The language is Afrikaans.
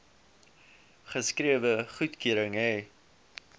geskrewe goedkeuring hê